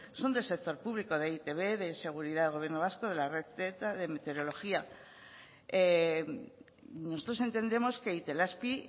son del sector público de e i te be de seguridad del gobierno vasco de la red de meteorología nosotros entendemos que itelazpi